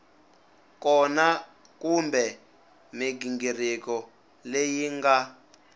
kona kumbe mighingiriko leyi nga